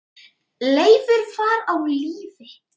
Leifur var á lífi.